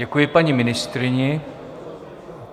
Děkuji paní ministryni.